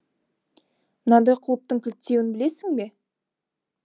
мынадай құлыптың кілттеуін білесің бе